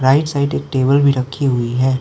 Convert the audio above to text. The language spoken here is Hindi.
राइट साइड एक टेबल भी रखी हुई है।